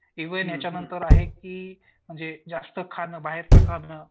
even याच्या नंतर आहे की जे जास्त खाणं बाहेरचं खाणं